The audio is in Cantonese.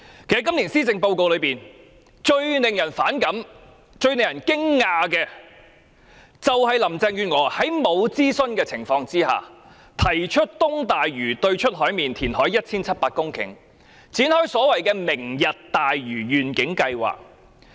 今年施政報告中，最令人反感和驚訝的是林鄭月娥在未經諮詢的情況下，提出在東大嶼山對出海面填海 1,700 公頃，展開所謂"明日大嶼願景"的計劃。